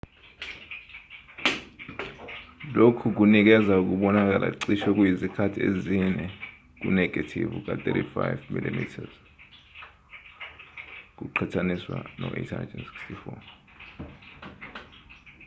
lokhu kunikeza ukubonakala cishe okuyizikhathi ezine kunenegethivu ka-35 mm 3136mm2 kuqhathaniswa ne-864